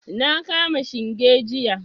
Na kama shinge jiya.